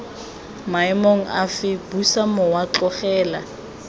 maemong afe busa mowa tlogela